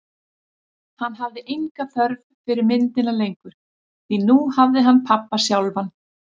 Hann hafði enga þörf fyrir myndina lengur, því nú hafði hann pabba sjálfan.